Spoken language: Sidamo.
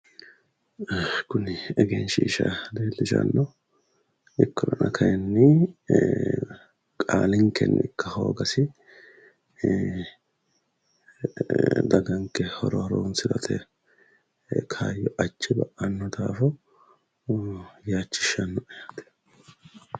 kuni egenshiisha leellishanno ikkollana kayiinni qaalinkenni ikka hoogasi ee daganke horo horonsirate kaayyo ajje ba'anno daafo yaachishshannoe yaate.